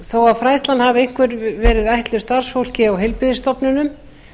þó að fræðslan hafi einkum verið ætluð starfsfólki á heilbrigðisstofnunum